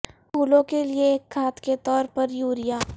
پھولوں کے لئے ایک کھاد کے طور پر یوریا